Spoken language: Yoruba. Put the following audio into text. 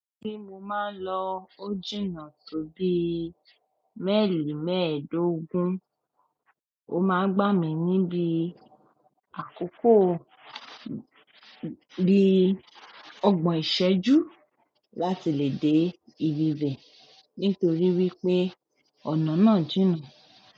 Tí mo máa ń lọ ó jìnnà tó bí mailì mẹ́ẹ̀ẹ́dógún, ó máa ń gbà mí ní bí àkókò bí ọgbọ̀n ìṣẹ́jú láti lè dé ibi bẹ̀ nítorí wípé ọ̀nà náà jìnnà.